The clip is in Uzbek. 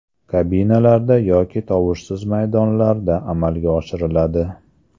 Kabinalarda yoki tovushsiz maydonlarda amalga oshiriladi.